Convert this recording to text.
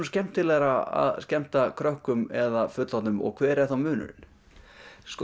skemmtilegra að skemmta krökkum eða fullorðnum og hver er þá munurinn